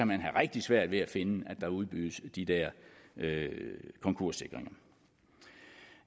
man have rigtig svært ved at finde at der udbydes de der konkurssikringer